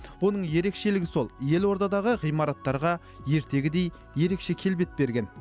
оның ерекшелігі сол елордадағы ғимараттарға ертегідей ерекше келбет берген